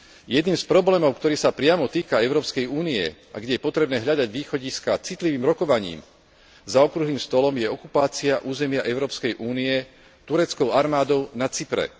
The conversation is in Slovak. Jedným z problémov, ktorý sa priamo týka Európskej únie a kde je potrebné hľadať východiská citlivým rokovaním za okrúhlym stolom, je okupácia územia Európskej únie tureckou armádou na Cypre.